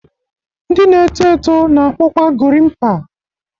Ndị na-eto eto na akpu kwa Gorimpa